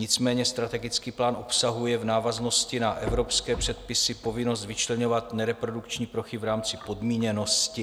Nicméně strategický plán obsahuje v návaznosti na evropské předpisy povinnost vyčleňovat nereprodukční plochy v rámci podmíněnosti.